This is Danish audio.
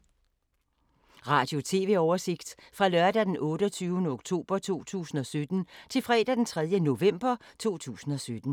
Radio/TV oversigt fra lørdag d. 28. oktober 2017 til fredag d. 3. november 2017